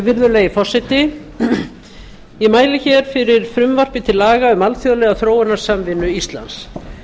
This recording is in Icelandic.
virðulegi forseti ég mæli hér fyrir frumvarpi til laga um alþjóðlega þróunarsamvinnu íslands þar